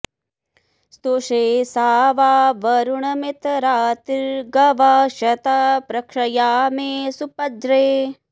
स्तु॒षे सा वां॑ वरुण मित्र रा॒तिर्गवां॑ श॒ता पृ॒क्षया॑मेषु प॒ज्रे